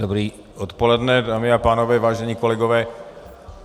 Dobré odpoledne, dámy a pánové, vážení kolegové.